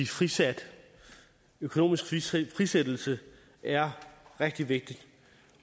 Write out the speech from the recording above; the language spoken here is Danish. frisat økonomisk frisættelse frisættelse er rigtig vigtigt